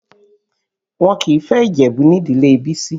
Wọn kìí fẹ́ Ìjẹ̀bú nídìlé Bisi